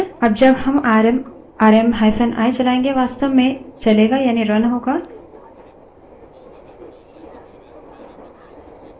अब जब rm RM आरएमi चलायेंगे वास्तव में चलेगा यानि now होगा